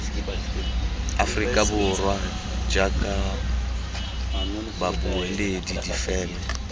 aforika borwa jaaka babueledi difeme